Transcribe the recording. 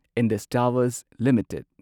Indus Towers limited